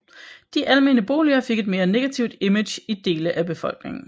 De almene boliger fik et mere negativt image i dele af befolkningen